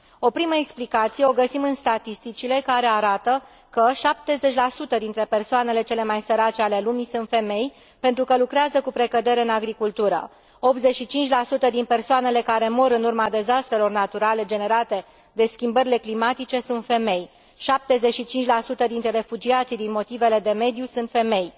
O primă explicație o găsim în statisticile care arată că 70 dintre persoanele cele mai sărace ale lumii sunt femei, pentru că lucrează cu precădere în agricultură, 85 din persoanele care mor în urma dezastrelor naturale generate de schimbările climatice sunt femei, 75 dintre refugiații din motive de mediu sunt femei.